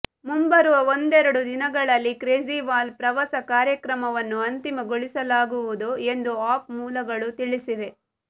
ಮುಂಬರುವ ಒಂದೆರಡು ದಿನಗಳಲ್ಲಿ ಕೇಜ್ರಿವಾಲ್ ಪ್ರವಾಸ ಕಾರ್ಯಕ್ರಮವನ್ನು ಅಂತಿಮಗೊಳಿಸಲಾಗುವುದು ಎಂದು ಆಪ್ ಮೂಲಗಳು ತಿಳಿಸಿವೆ